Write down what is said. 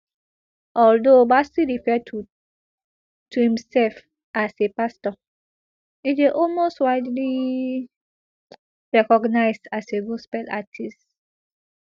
although bassey refer to to imself as a pastor e dey most widely recognised as a gospel artist